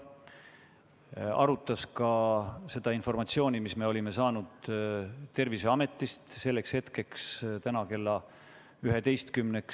Juhatus arutas ka seda informatsiooni, mis me olime Terviseametist selleks hetkeks, täna kella 11-ks saanud.